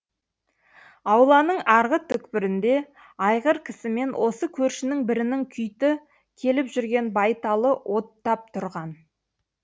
ауланың арғы түкпірінде айғыркісімен осы көршінің бірінің күйті келіп жүрген байталы оттап тұрған